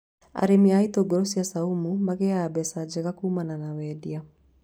Arĩmi a itũngũrũ cia caumu magĩaga mbeca njega kumana na wendia